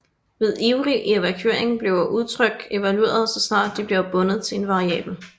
Ved ivrig evaluering bliver udtryk evalueret så snart de bliver bundet til en variabel